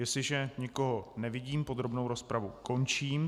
Jestliže nikoho nevidím, podrobnou rozpravu končím.